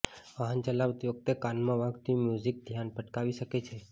વાહન ચલાવતી વખતે કાનમાં વાગતું મ્યુઝિક ધ્યાન ભટકાવી શકે છે